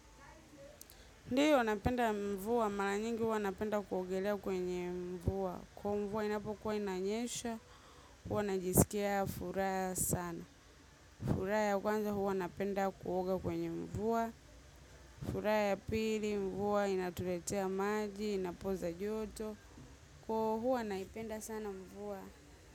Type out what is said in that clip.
Ndio, napenda mvua. Mara nyingi huwa napenda kuogelea kwenye mvua. Kwa mvua inapokuwa inanyesha, huwa najisikia furaha sana. Furaha ya kwanza huwa napenda kuoga kwenye mvua. Furaha ya pili mvua inatuletea maji, inapoza joto. Kwa hivo huwa naipenda sana mvua.